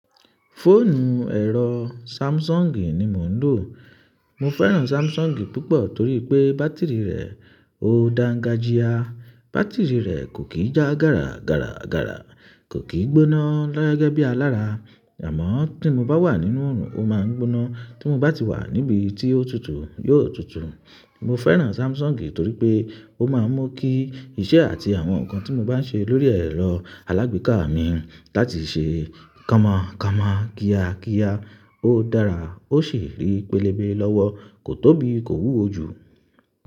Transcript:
Fóònù ẹ̀rọ Samsung ni mo ń lò. Mo fẹ́ràn Samsung púpọ̀ torí pé bátìrì rẹ̀ ó da ga jia. Bátìrì rẹ̀ kò kì í já gàrà gàrà gàrà, kò kì í gbóná gẹ́gẹ́ bí alára, àmọ́ tí mo bá wà nínú oòrùn ó máa ń gbóná, tí mo bá ti wà níbi tí ó tutù yóò tutù. Mo fẹ́ràn Samsung torí pé ó máa ń mú kí iṣẹ́ àti àwọn nǹkan tí mo bá ń ṣe lórí ẹ̀rọ alágbèéká mi láti ṣe kámọ̀ kámọ̀, kíákíá, ó dára, ó sì rí pélébé lọ́wọ́, kò tóbi, kò wúwo jù.